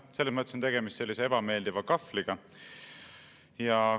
Selles mõttes on tegemist ebameeldiva kahvliga.